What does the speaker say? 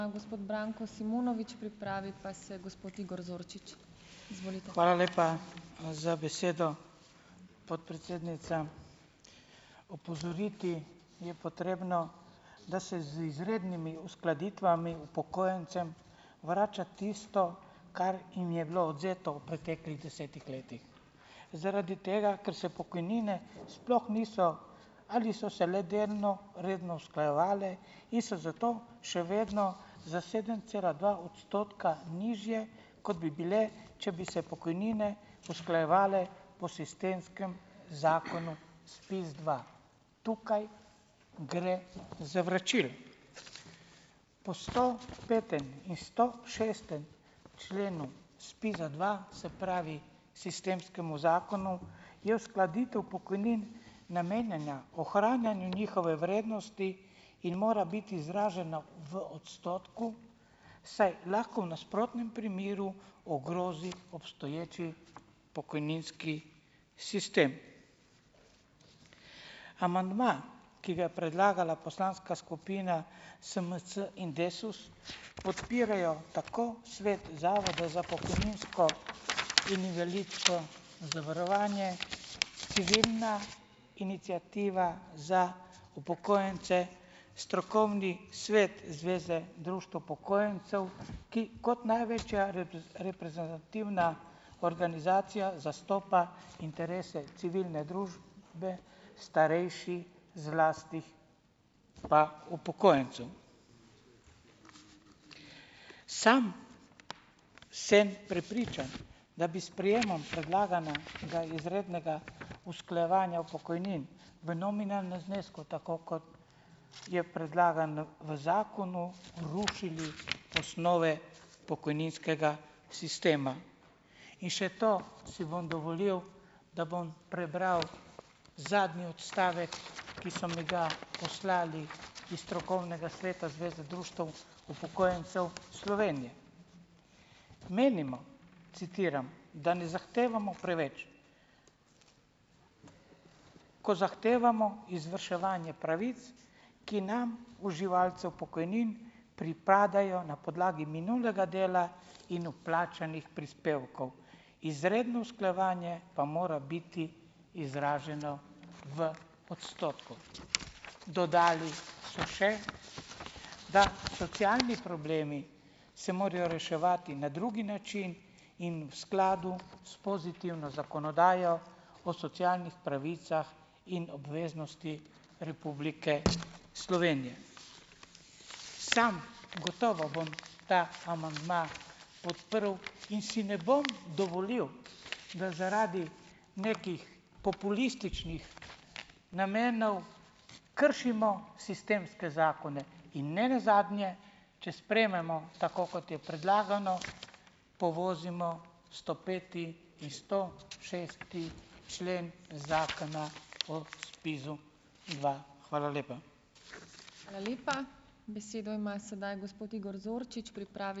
Hvala lepa, za besedo, podpredsednica. Opozoriti je potrebno, da se z izrednimi uskladitvami upokojencem vrača tisto, kar jim je bilo odvzeto v preteklih desetih letih. Zaradi tega, ker se pokojnine sploh niso ali so se le delno redno usklajevale in so zato še vedno za sedem cela dva odstotka nižje, kot bi bile, če bi se pokojnine usklajevale po sistemskem zakonu SPIZ dva. Tukaj gre za vračilo po stopetem in stošestem členu SPIZ-a Dva, se pravi, sistemskem zakonu, je uskladitev pokojnin namenjena ohranjanju njihove vrednosti in mora biti izražena v odstotku, saj lahko v nasprotnem primeru ogrozi obstoječi pokojninski sistem. Amandma, ki ga je predlagala poslanska skupina SMC in Desus, podpirajo tako svet Zavoda za pokojninsko in invalidsko zavarovanje, Civilna iniciativa za upokojence, strokovni svet Zveze društev upokojencev, ki kot največja reprezentativna organizacija zastopa interese civilne družbe starejših, zlasti pa upokojencu. Sam sem prepričan, da bi s sprejemom predlaganega izrednega usklajevanja pokojnin v nominalnem znesku tako, kot je predlagan v zakonu, rušili osnove pokojninskega sistema. In še to si bom dovolil, da bom prebral zadnji odstavek, ki so mi ga poslali iz strokovnega sveta Zveze društev upokojencev Slovenije. Menimo, citiram, da ne zahtevamo preveč. Ko zahtevamo izvrševanje pravic, ki nam, uživalcem pokojnin, pripadajo na podlagi minulega dela in vplačanih prispevkov. Izredno usklajevanje pa mora biti izraženo v odstotku. Dodali so še, da socialni problemi se morajo reševati na drugi način in v skladu s pozitivno zakonodajo o socialnih pravicah in obveznosti Republike Slovenije. Sam gotovo bom ta amandma podprl in si ne bom dovolil, da zaradi nekih populističnih namenov kršimo sistemske zakone. In nenazadnje, če sprejmemo tako, kot je predlagano, povozimo stopeti in stošesti člen Zakona o SPIZ-u Dva. Hvala lepa.